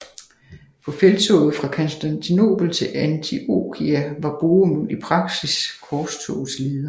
På felttoget fra Konstantinopel til Antiokia var Bohemund i praksis korstogets leder